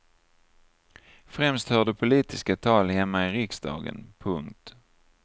Främst hörde politiska tal hemma i riksdagen. punkt